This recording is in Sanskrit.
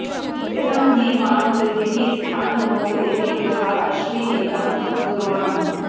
इदं हि वां प्रदिवि स्थानमोक इमे गृहा अश्विनेदं दुरोणम्